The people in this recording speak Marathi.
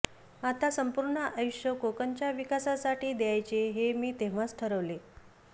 आता संपूर्ण आयुष्य कोकणच्या विकासासाठी द्यायचे हे मी तेव्हाच ठरवले